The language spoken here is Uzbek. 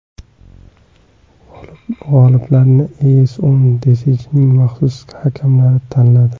G‘oliblarni EyesOn Design’ning maxsus hakamlari tanladi.